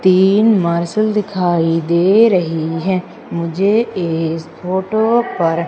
तीन मार्शल दिखाई दे रही है मुझे इस फोटो पर।